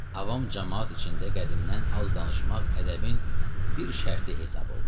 Avam camaat içində qədimdən az danışmaq ədəbin bir şərti hesab olunur.